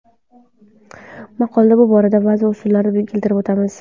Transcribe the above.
Maqolada bu borada ba’zi usullarni keltirib o‘tamiz.